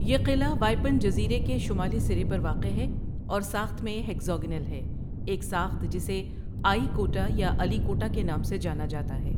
یہ قلعہ وائپن جزیرے کے شمالی سرے پر واقع ہے اور ساخت میں ہیگزاگنل ہے، ایک ساخت جسے آیی کوٹا یا علی کوٹا کے نام سے جانا جاتا ہے۔